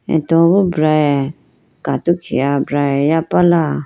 atowe boo brage katokhi ah brage yaprala.